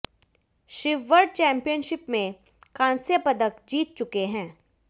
Shiv world championship में कांस्य पदक जीत चुके हैं